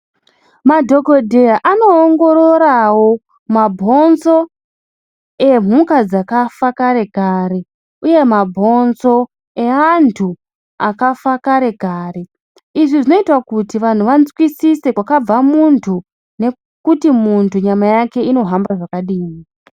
Madhokodheya anoongororawo mabhonzo emhuka dzakafa karekare uye mabhonzo eantu akafa karekare izvi zvinoita kuti vantu vanzwisise kwakabva muntu nekuti muntu nyama yake inohamba zvakadini.